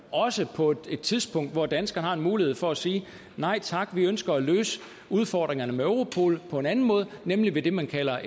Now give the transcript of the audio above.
også på et tidspunkt hvor danskerne har en mulighed for at sige nej tak vi ønsker at løse udfordringerne med europol på en anden måde nemlig ved det man kalder